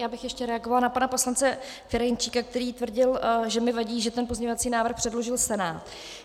Já bych ještě reagovala na pana poslance Ferjenčíka, který tvrdil, že mi vadí, že ten pozměňovací návrh předložil Senát.